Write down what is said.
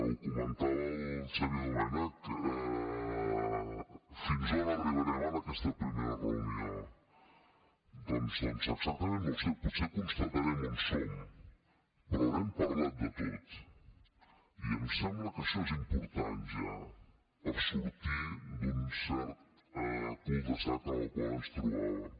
ho comentava el xavier domènech fins on arribarem en aquesta primera reunió doncs exactament no ho sé potser constatarem on som però haurem parlat de tot i em sembla que això és important ja per sortir d’un cert cul de sac en el qual ens trobàvem